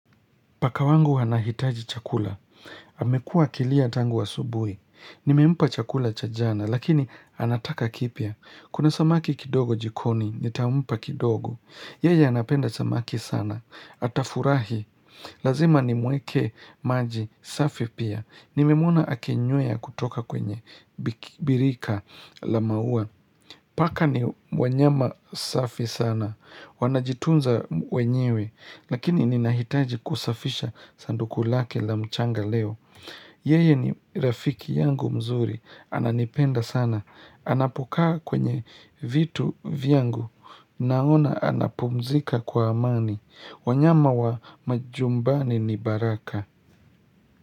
Paka wangu anahitaji chakula. Amekuwa kilia tangu asubuhi. Nimempa chakula cha jana, lakini anataka kipya. Kuna samaki kidogo jikoni, nitampa kidogo. Yeye anapenda samaki sana. Atafurahi. Lazima nimwekee maji safi pia. Nimemwona akinywea kutoka kwenye birika la maua. Paka ni wanyama safi sana. Wanajitunza wenyewe. Lakini ninahitaji kusafisha sanduku lake la mchanga leo Yeye ni rafiki yangu mzuri. Ananipenda sana. Anapokaa kwenye vitu vyangu Naona anapumzika kwa amani. Wanyama wa majumbani ni baraka.